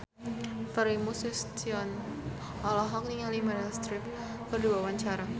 Primus Yustisio olohok ningali Meryl Streep keur diwawancara